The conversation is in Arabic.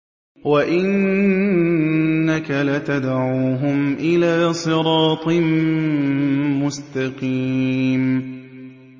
وَإِنَّكَ لَتَدْعُوهُمْ إِلَىٰ صِرَاطٍ مُّسْتَقِيمٍ